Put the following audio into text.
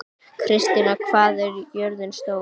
Kristný, hvað er jörðin stór?